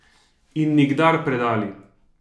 In nikdar predali!